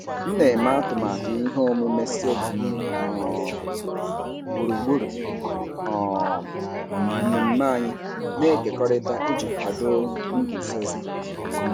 M na-eme atụmatụ ihe omume solo um gburugburu um mmemme anyị na-ekekọrịta iji kwado nguzozi.